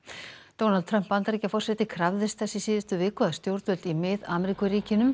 Donald Trump Bandaríkjaforseti krafðist þess í síðustu viku að stjórnvöld í Mið